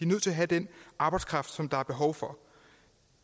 nødt til at have den arbejdskraft som der er behov for